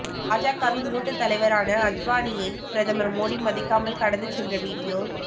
பாஜகவின் மூத்த தலைவரான அத்வானியை பிரதமர் மோடி மதிக்காமல் கடந்து சென்ற வீடியோ